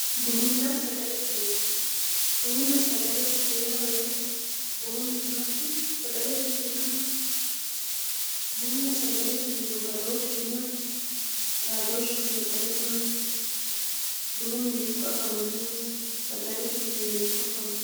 buninna sagalete mine bununna sagalete mine yaa mayaate bunu mini maati sagalete mini yaa maati bununna sagalete minihu badooshisi maati xaadooshisino qole maati bunu mini hiikko afamannoho isi sagalete minino hiikko afamanno